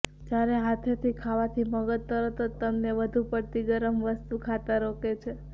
જ્યારે હાથેથી ખાવાથી મગજ તરત જ તમને વધુ પડતી ગરમ વસ્તુ ખાતા રોકે છે